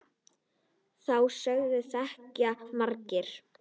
Þá sögu þekkja margir.